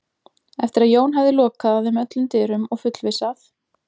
Eftir að Jón hafði lokað að þeim öllum dyrum og fullvissað